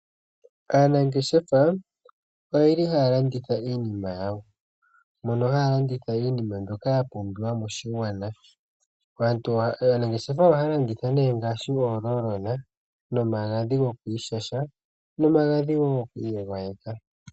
Aanangeshefa oyeli haya landitha iinima yawo mono haya landitha iinima mbyoka yapumbiwa moshigwana. Aanangeshefa ohaya landitha ne ngaashi, oololona, nomagadhi gokwiishasha nomagadhi wo gokwiigwayeka.